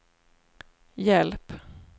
hjälp